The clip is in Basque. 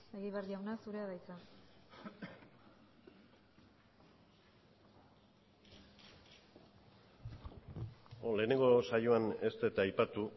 egibar jauna zurea da hitza lehenengo saioan ez dut aipatu